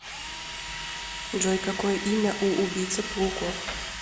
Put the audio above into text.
джой какое имя у убийца пауков